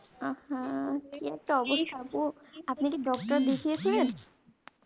আহ হা কি একটা অবস্থা আপনি কি doctor দেখিয়েছিলেন